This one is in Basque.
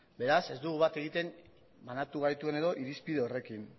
beraz ez dugu bat egiten banatu gaituen edo irizpide horrekin